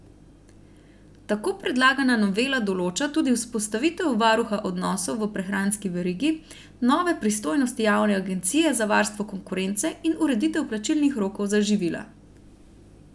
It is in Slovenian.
Tako predlagana novela določa tudi vzpostavitev varuha odnosov v prehranski verigi, nove pristojnosti javne agencije za varstvo konkurence in ureditev plačilnih rokov za živila.